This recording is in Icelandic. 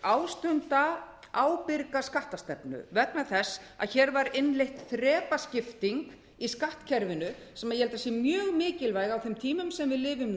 ástunda ábyrga skattastefnu vegna þess að hér var innleidd þrepaskipting í skattkerfinu sem ég held að sé mjög mikilvæg á þeim tímum sem við lifum